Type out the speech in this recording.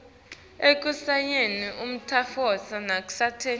ekushayeni umtsetfo nasekwenteni